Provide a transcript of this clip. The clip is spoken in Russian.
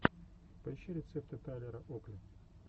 поищи рецепты тайлера окли